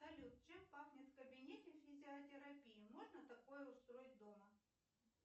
салют чем пахнет в кабинете физиотерапии можно такое устроить дома